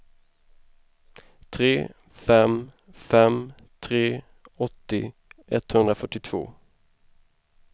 tre fem fem tre åttio etthundrafyrtiotvå